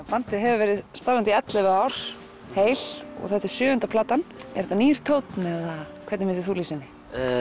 bandið hefur verið starfandi í ellefu ár heil og þetta er sjöunda platan er þetta nýr tónn eða hvernig myndir þú lýsa henni